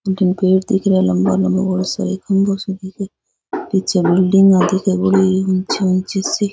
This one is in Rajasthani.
अठीन पेड़ दिख रा है लंबा लंबा पीछे बिल्डिंगा दिखे ऊंची ऊंची सी।